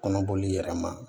Kɔnɔboli yɛrɛ ma